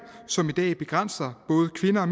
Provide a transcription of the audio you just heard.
som i dag begrænser både kvinder